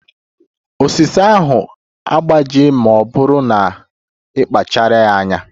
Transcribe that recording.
Osisi ahụ ga-agbaji ma ọ bụrụ na ị kpacharaghị anya.